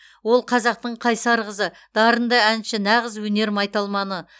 ол қазақтың қайсар қызы дарынды әнші нағыз өнер майталманы